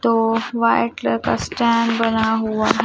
दो white colour का stand बना हुआ है।